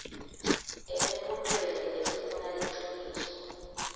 emibutweni lefuna liciniso